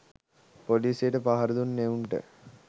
පොලිසියට පහර දුන් එවුන්ට